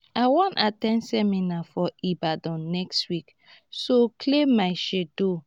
i wan at ten d seminar for ibadan next week so clear my schedule